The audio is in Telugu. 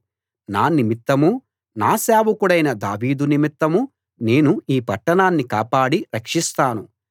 నా నిమిత్తమూ నా సేవకుడైన దావీదు నిమిత్తమూ నేను ఈ పట్టణాన్ని కాపాడి రక్షిస్తాను